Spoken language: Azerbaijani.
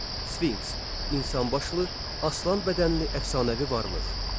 Sfinks insanbaşlı, aslanbədənli əfsanəvi varlıq.